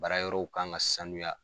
Baara yɔrɔw kan ka sanuya.